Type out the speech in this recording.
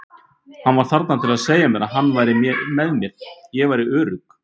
Hann var þarna til að segja mér að hann væri með mér, ég væri örugg.